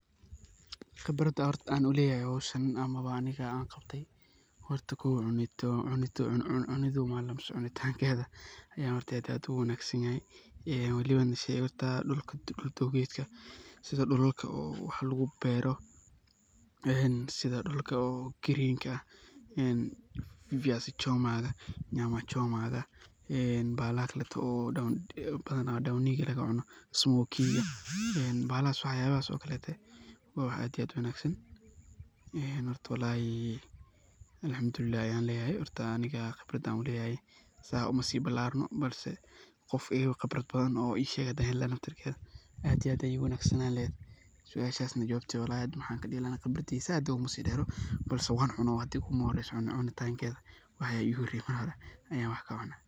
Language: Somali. Qeebrada AA u leeyahay hooshan amah Anika AA qaabtay hoorta kow cunitha cuuntangeetha Aya aad iyo aad u wangsantahay eyoo waliba setha dulka keetga setha dulalka wax lagu beeroh eheen setha dulka green kan een viazi choma ka amah nyma choma ah ee bahalka kootay oo dwoninka laga cuunoh bahalas waxyabahas oo kolotay wa wax aad iyo aad u wangsan hoorta wallahi alxamdulilah Ayan leeyahay handa Anika qeebrada u leeyahay saas uma sibbelarno bal Qoof iga Qeebrat bathan oo Ii sheeki hand heli lahay aad iyo aad Aya u wangasanlaheet suasha jawabteed wallahi hada waxan kadhe lahay qeebardisa saait UGA seedeero mise wan cuunah hada igu ma horeysoh bahashan cunitangeetha Aya igu horeysay aya wx kacuunah.